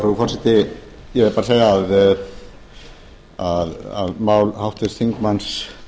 frú forseti ég vil bara segja að mál háttvirts þingmanns